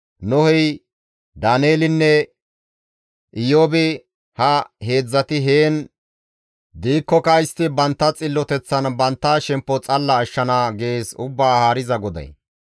Nohey, Daaneelinne Iyoobi ha heedzdzati heen diikkoka istti bantta xilloteththan bantta shemppo xalala ashshana» gees Ubbaa Haariza GODAY.